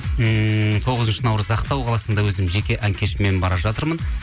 ммм тоғызыншы наурыз ақтау қаласында өзім жеке ән кешіммен бара жатырмын